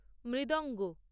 মৃদঙ্গ